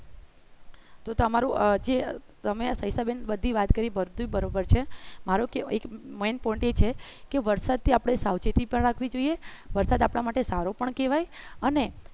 અ તમારું અ સવિતાબેન બધી વાત કરી બધી બરોબર છે મારું કેવા મારો main point એ છે કે વરસાદથી આપણે સાવચેતી પણ રાખવી જોઈએ વરસાદ આપણા માટે સારો પણ કહેવાય અને